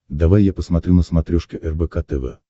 давай я посмотрю на смотрешке рбк тв